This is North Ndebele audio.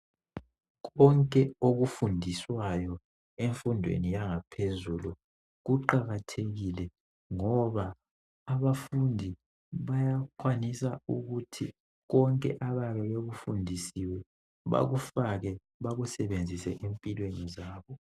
Konke okufundiswayo emfundweni yangaphezulu kuqakathekile ngoba abafundi bayakwanisa ukuthi konke abayabe bekufundisiwe bakufake bakusebenzise empilweni zabo.